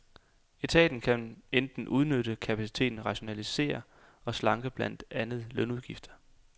Etaten kan enten udnytte kapaciteten, rationalisere og slanke blandt andet lønudgifter.